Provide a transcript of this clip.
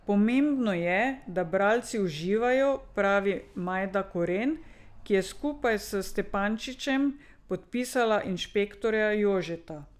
Pomembno je, da bralci uživajo, pravi Majda Koren, ki je skupaj s Stepančičem podpisala Inšpektorja Jožeta.